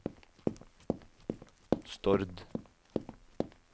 Stord